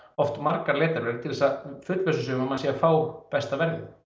oft margar leitarvélar til þess að fullvissa sig um að maður sé að fá besta verðið